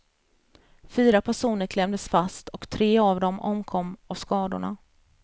Fyra personer klämdes fast och tre av dem omkom av skadorna.